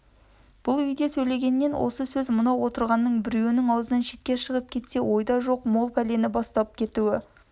бұл үйде сөйленген осы сөз мынау отырғанның біреуінің аузынан шетке шығып кетсе ойда жоқ мол пәлені бастап кетуі